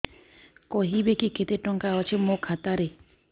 କହିବେକି କେତେ ଟଙ୍କା ଅଛି ମୋ ଖାତା ରେ